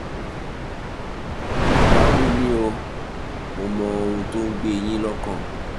báwo ni o? mo mọ ohun tó ń gbé e yín lọ́kàn